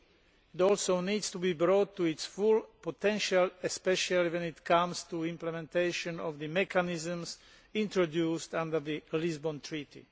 It also needs to be brought to its full potential, especially when it comes to implementation of the mechanisms introduced under the Lisbon Treaty.